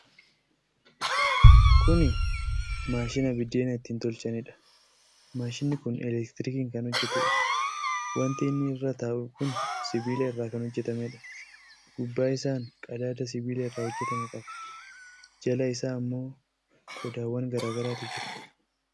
Kuni maashina biddeena ittiin tolchanidha. Maashinni kun elektrikiin kan hojjatuudha. Wanti inni irra taa'u kun sibiila irraa kan hojjatameedha. Gubbaa isaan qadaada sibiila irraa hojjatame qaba. Jala isaa ammoo qodaawwan garaagaraatu jira.